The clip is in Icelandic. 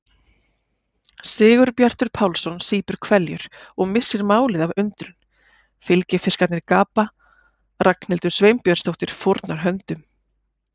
Sigurbjartur Pálsson sýpur hveljur og missir málið af undrun, fylgifiskarnir gapa, Ragnhildur Sveinbjörnsdóttir fórnar höndum.